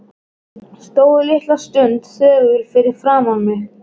Stóð litla stund þögull fyrir framan mig.